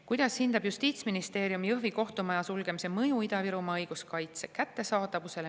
"Kuidas hindab Justiitsministeerium Jõhvi kohtumaja sulgemise mõju Ida-Virumaa õiguskaitse kättesaadavusele?